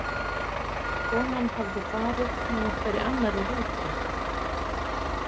Konan hafði farið með einhverri annarri rútu.